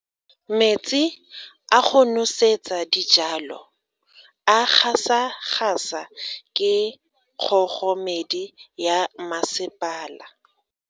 Metsi a go nosetsa dijalo a gasa gasa ke kgogomedi ya masepala.